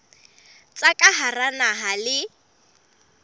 tsa ka hara naha le